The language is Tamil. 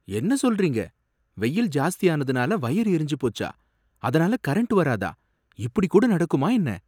என்ன சொல்றீங்க? வெயில் ஜாஸ்தியானதுனால வயர் எறிஞ்சு போச்சா? அதனால கரண்ட் வராதா? இப்படி கூட நடக்குமா என்ன?